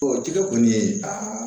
O tigɛ kɔni